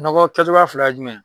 Nɔgɔ kɛcogoya fila ye jumɛn ye